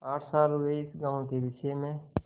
आठ साल हुए इस गॉँव के विषय में